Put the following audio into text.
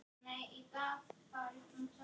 Barn hennar er Kolbrún María.